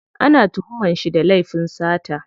Ana tuhuman shi da laifin sata.